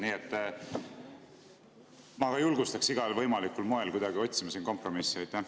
Nii et ma julgustaks igal võimalikul moel kuidagi otsima siin kompromissi.